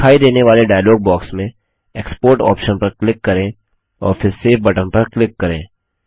दिखाई देने वाले डायलॉग बॉक्स में एक्सपोर्ट ऑप्शन पर क्लिक करें और फिर सेव बटन पर क्लिक करें